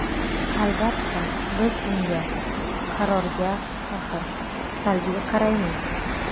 Albatta, biz unga (qarorga – tahr.) salbiy qaraymiz.